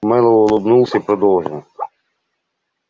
мэллоу улыбнулся и продолжил